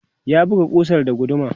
ya buga kusar da guduma